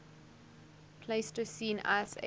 pleistocene ice age